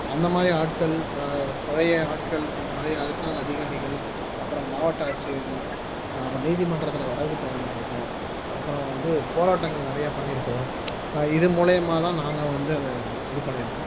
அந்த மாறி ஆட்கள் ப பழைய ஆட்கள் பழைய அரசாங்க அதிகாரிகள் அப்புறம் மாவட்ட ஆட்சியர்கள் அப்புறம் நீதிமன்றத்துல வழக்கு தொடர்ந்திருக்கோம் அப்புறம் வந்து போராட்டங்கள் நிறைய பண்ணியிருக்கிறோம் இது மூலியமாதான் நாங்க வந்து அதை இது பண்ணியிருக்கோம்